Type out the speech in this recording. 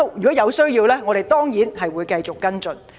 如有需要，我們當然會繼續跟進。